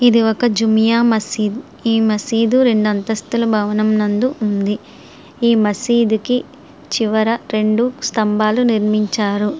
ఇది ఒక జూనియర్ మసీదు మసీదు రెండు అంతస్తుల భవనము నందు ఉంది ఈ మసీదు కి చివర రెండు స్తంభాలు నిర్మించారు.